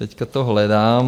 Teď to hledám.